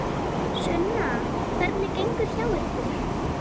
Sunna: Hvernig gengur hjá ykkur?